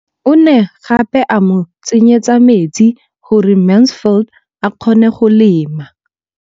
O ne gape a mo tsenyetsa metsi gore Mansfield a kgone go lema.